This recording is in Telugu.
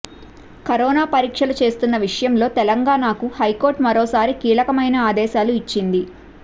కరోనా పరీక్షలు చేస్తున్న విషయంలో తెలంగాణకు హైకోర్టు మరోసారి కీలకమైన ఆదేశాలు ఇచ్చింది